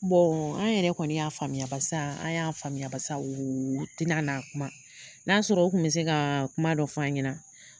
an yɛrɛ kɔni y'a faamuyasa barisa an y'a faamuya barisa, u tina na kuma n'a sɔrɔ u kun mi se ka kuma dɔ f'an ɲɛna.